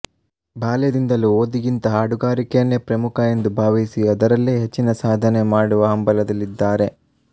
ಬಾಲ್ಯದಿಂದಲೂ ಓದಿಗಿಂತ ಹಾಡುಗಾರಿಕೆಯನ್ನೇ ಪ್ರಮುಖ ಎಂದು ಭಾವಿಸಿ ಅದರಲ್ಲೇ ಹೆಚ್ಚಿನ ಸಾಧನೆ ಮಾಡುವ ಹಂಬಲದಲ್ಲಿದ್ದಾರೆ